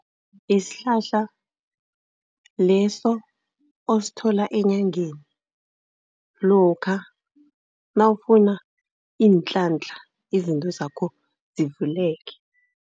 Yisihlahla leso osithola eenyangeni lokha nawufuna iintlantla, izinto zakho zivuleke.